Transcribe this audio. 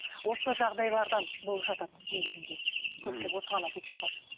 осы жағдайлардан болып жатады негізінде ммм көпшілігі осыған әкеліп соғады